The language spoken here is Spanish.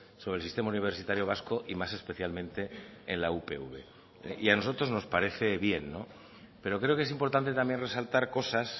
sobre el sistema universitario vasco y más especialmente en la upv y a nosotros nos parece bien pero creo que es importante también resaltar cosas